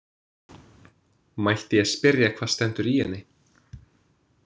Mætti ég spyrja hvað stendur í henni?